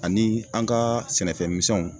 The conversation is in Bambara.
Ani an kaa sɛnɛfɛn misɛnw